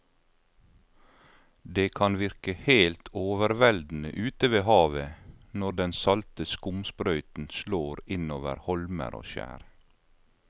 Det kan virke helt overveldende ute ved havet når den salte skumsprøyten slår innover holmer og skjær.